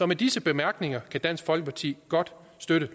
med disse bemærkninger kan dansk folkeparti godt støtte